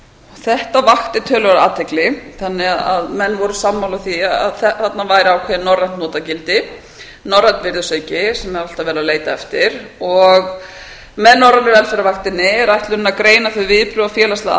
þetta vakti töluverða athygli þannig að menn voru sammála því að þarna væri ákveðið norrænt notagildi norrænn virðisauki sem er alltaf verið að leita eftir og með norrænu velferðarvaktinni er ætlunin að greina þau viðbrögð og félagslegu